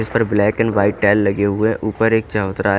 इसपर black and white tile लगे हुए हैं ऊपर एक चबूतरा--